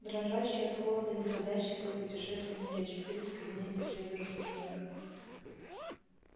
дрожащие от холода незадачливые путешественники очутились в кабинете северуса снегга